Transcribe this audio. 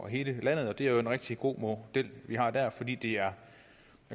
hele landet det er en rigtig god model vi har der fordi det er